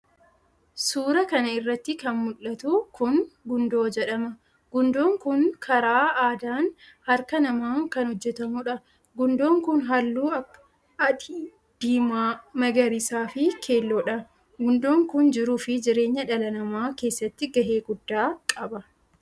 suura kana irratti kan mul'atu kun Gundoo jedhama. Gundoon kun karaa aadaan harka namaan kan hojjetamudha. Gundoon kun halluu akka adii, diimaa, magariisaa fi keelloodha. Gundoon kun jiruu fi jireenya dhala namaa keessatti gahee guddaa qaba.